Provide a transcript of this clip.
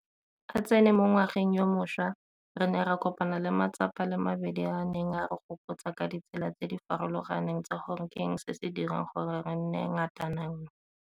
A tsene mo ngwageng yo mošwa, re ne ra kopana le matsapa a le mabedi a a neng a re gopotsa ka ditsela tse di farologaneng tsa gore ke eng se se dirang gore re nne ngatananngwe.